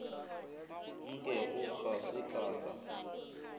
nkego ga se ka ka